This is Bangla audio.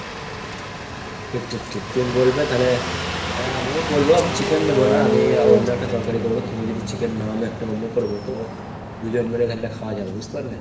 ঠিক ঠিক ঠিক। তুমি বলবে তালে। আহ আমিও বলবো আমি chicken নেবো না আমি অন্য একটা তরকারি করবো। তুমি যদি chicken নাও আমি একটা অন্য করবো তো। দুজন মিলে তালে খাওয়া যাবে বুঝতে পারলে ?